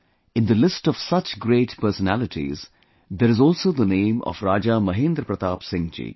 In the list of such great personalities, there is also the name of Raja Mahendra Pratap Singh ji